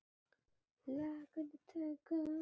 Þar fór sú von.